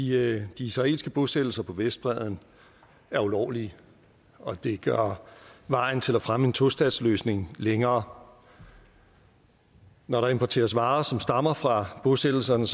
de israelske bosættelser på vestbredden er ulovlige og det gør vejen til at fremme en tostatsløsning længere når der importeres varer som stammer fra bosættelserne